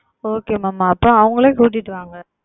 Okay Mam அப்பொழுது அவர்களையே அழைத்து கொண்டு வாருங்கள்